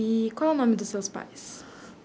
E qual é o nome dos seus pais?